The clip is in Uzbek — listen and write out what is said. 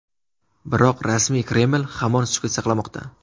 Biroq rasmiy Kreml hamon sukut saqlamoqda.